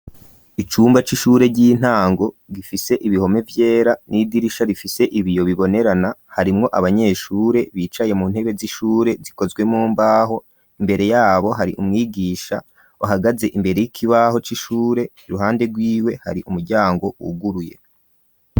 Icumba c'ishure ry'intango gifise ibihome vyera n'idirisha rifise ibiyo bibonerana. Harimwo abanyeshure bicaye mu ntebe z'ishure zikozwe mu mbaho. Imbere y'abo hari umwigisha ahagaze imbere y'ikibaho c'ishure, iruhande rw'iwe hari umuryango wuguruye.